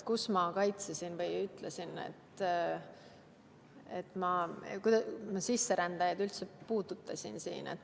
Kus ma sisserändajaid kaitsesin või kuidas ma neid üldse siin puudutasin?